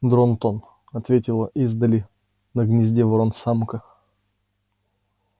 дрон-тон ответила издали на гнезде ворон-самка